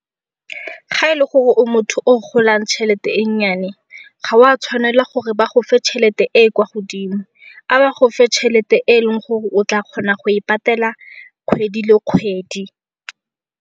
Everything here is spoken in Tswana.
Ga e le gore o motho o golang tšhelete e nnyane ga o a tshwanela gore ba go fa tšhelete e kwa godimo. A ba go fe tšhelete e leng gore o tla kgona go e patela kgwedi le kgwedi.